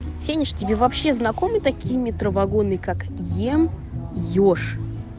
финиш тебе вообще знакомы такие метро вагоны как ем ёж